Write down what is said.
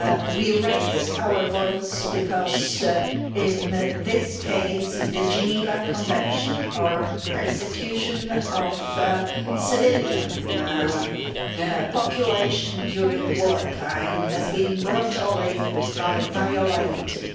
We raise our voices, because in this case the Geneva Convention on the persecution of civilian populations during war time has been brutally violated.